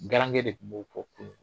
Garange de tun b'o fɔ kunu.